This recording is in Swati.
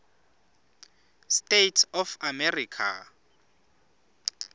states of america